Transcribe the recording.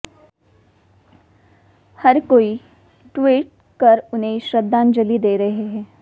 हर कोई ट्वीट कर उन्हें श्रद्धांजलि दे रहे हैं